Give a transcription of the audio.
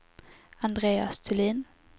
Andreas Thulin